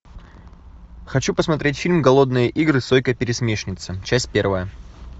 хочу посмотреть фильм голодные игры сойка пересмешница часть первая